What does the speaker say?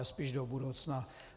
Ale spíše do budoucna.